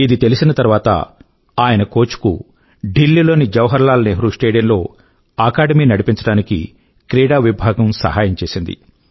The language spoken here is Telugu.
ఇది తెలిసిన తర్వాత ఆయన కోచ్ కు ఢిల్లీ లోని జవహర్ లాల్ నెహ్రూ స్టేడియం లో అకాడమీ నడిపించడానికి క్రీడా విభాగం సహాయం చేసింది